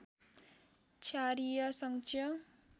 क्षारीय सञ्चय